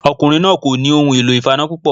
Ọkùnrin náà ò nì ohun èlò ìfaná púpọ̀